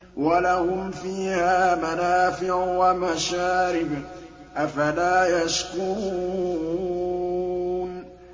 وَلَهُمْ فِيهَا مَنَافِعُ وَمَشَارِبُ ۖ أَفَلَا يَشْكُرُونَ